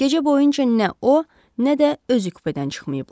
Gecə boyunca nə o, nə də özü kupedən çıxmayıblar.